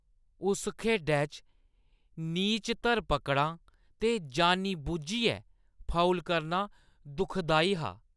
उस खेढै च नीच धर-पकड़ां ते जानी-बुज्झियै फाउल करना दुखदाई हा।